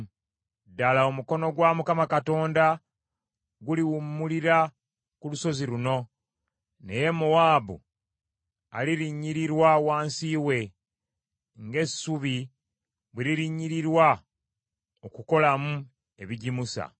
Ddala omukono gwa Mukama Katonda guliwummulira ku lusozi luno, naye Mowaabu alirinnyirirwa wansi we, ng’essubi bwe lirinnyirirwa okukolamu ebijimusa.